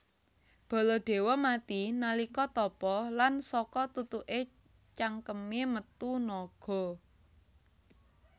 Baladewa mati nalika tapa lan saka tutuke cangkeme metu naga